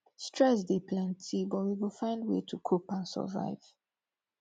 stress dey plenty but we go find way to cope and survive